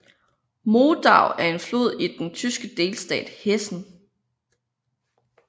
Modau er en flod i den tyske delstat Hessen